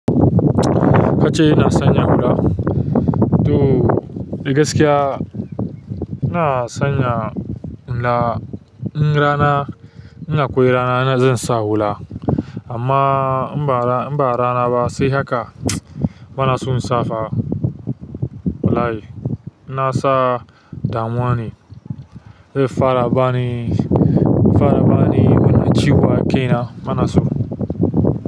Ka ce ina sanya hula? To dagaskiya ina sanya hula in rana ina akwai rana ina zan sa hula amma in ba rana ba sai haka bana so in sa fa. Wallahi ina sa damuwa ne. Zai fara bani, fara bani mana ciwa ke na bana so.